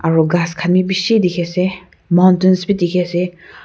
aru gass khan bhi bisi dekhi ase mountent bhi dekhi ase.